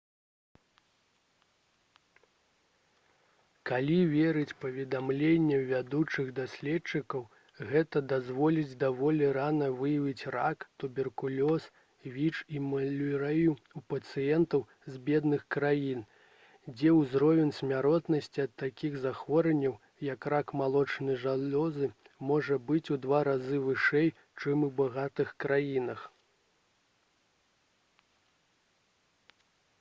калі верыць паведамленням вядучых даследчыкаў гэта дазволіць даволі рана выяўляць рак туберкулёз віч і малярыю ў пацыентаў з бедных краін дзе ўзровень смяротнасці ад такіх захворванняў як рак малочнай залозы можа быць у два разы вышэй чым у багатых краінах